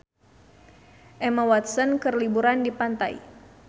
Emma Watson keur liburan di pantai